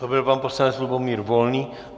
To byl pan poslanec Lubomír Volný.